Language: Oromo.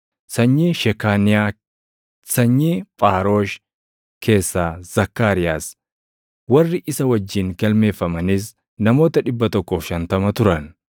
sanyii Shekaaniyaa; sanyii Phaarosh keessaa Zakkaariyaas; warri isa wajjin galmeeffamanis namoota 150 turan;